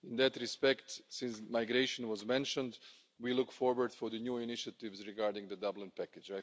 In that respect, since migration was mentioned, we look forward to the new initiatives regarding the Dublin package.